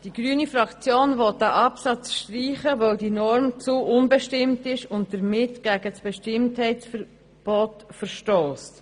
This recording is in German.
Die grüne Fraktion will den Absatz streichen, weil diese Norm zu unbestimmt ist und damit gegen das Bestimmtheitsverbot verstösst.